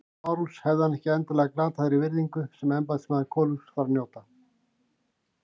LÁRUS: Hefði hann ekki endanlega glatað þeirri virðingu sem embættismaður konungs þarf að njóta?